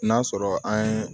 N'a sɔrɔ an ye